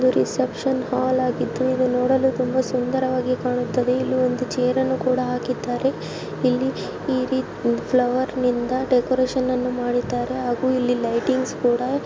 reception hall ಆಗಿದ್ದು ಇದು ನೋಡಲು ತುಂಬಾ ಸುಂದರವಾಗಿ ಕಾಣುತ್ತದೆ ಇಲ್ಲಿ ಒಂದು ಚೇರನ್ನು ಕೂಡ ಹಾಕಿದ್ದಾರೆ ಇಲ್ಲಿ ಈ ರೀತಿ ಫ್ಲವರ್ ನಿಂದ ಡೆಕೋರೇಷನ್ಮಾ ಡಿದ್ದಾರೆ ಹಾಗೂ ಇಲ್ಲಿ ಲೈಟಿಂಗ್ಸ್ ಕೂಡ --